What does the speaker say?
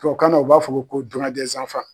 Tubabu kan na u b'a fɔ ko